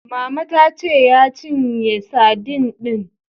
Mama ta ce ya cinye sadin din.